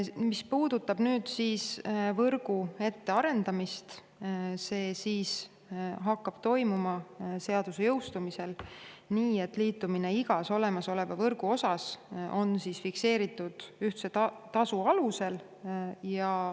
Mis puudutab võrgu ette arendamist, siis see hakkab toimuma seaduse jõustumisel nii, et liitumine igas olemasoleva võrgu osas on fikseeritud ühtse tasu alusel.